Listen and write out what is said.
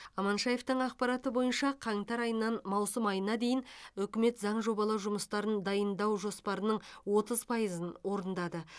аманшаевтың ақпараты бойынша қаңтар айынан маусым айына дейін үкімет заң жобалау жұмыстарын дайындау жоспарының отыз пайызын орындады